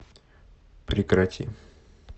прекрати